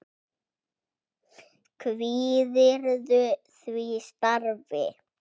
Kvíðirðu því starfi?